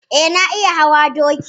Eh, na iya hawa doki